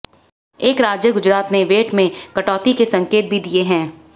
एक राज्य गुजरात ने वैट में कटौती के संकेत भी दिए हैं